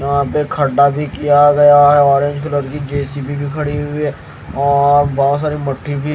यहां पे भी किया गया है ऑरेंज कलर की जे_सी_बी भी खड़ी हुई है और बहोत सारी मठ्ठी भी--